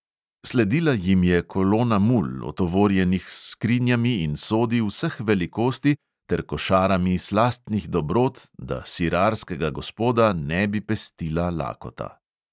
Sledila jim je kolona mul, otovorjenih s skrinjami in sodi vseh velikosti ter košarami slastnih dobrot, da sirarskega gospoda ne bi pestila lakota.